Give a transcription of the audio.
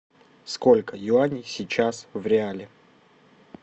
сколько юаней сейчас в реале